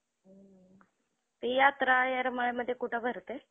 ती यात्रा येरमाळ्यामधे कुठे भरते?